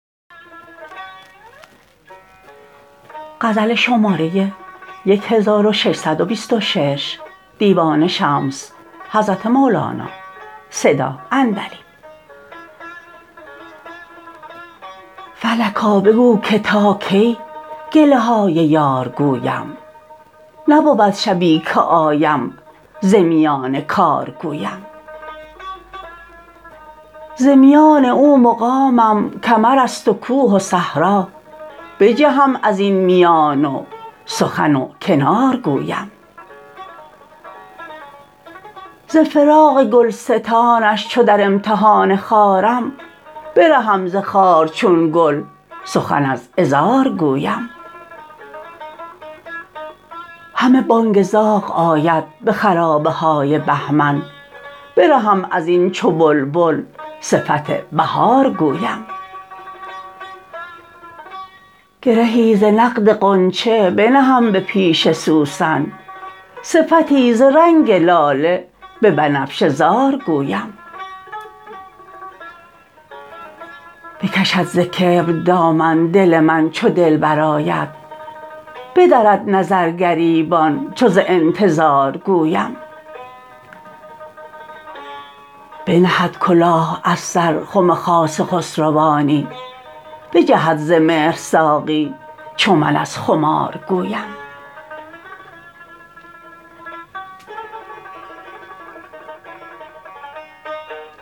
فلکا بگو که تا کی گله های یار گویم نبود شبی که آیم ز میان کار گویم ز میان او مقامم کمر است و کوه و صحرا بجهم از این میان و سخن کنار گویم ز فراق گلستانش چو در امتحان خارم برهم ز خار چون گل سخن از عذار گویم همه بانگ زاغ آید به خرابه های بهمن برهم از این چو بلبل صفت بهار گویم گرهی ز نقد غنچه بنهم به پیش سوسن صفتی ز رنگ لاله به بنفشه زار گویم بکشد ز کبر دامن دل من چو دلبر آید بدرد نظر گریبان چو ز انتظار گویم بنهد کلاه از سر خم خاص خسروانی بجهد ز مهر ساقی چو من از خمار گویم